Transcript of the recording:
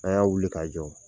A'y'a wuli k'a jɔ !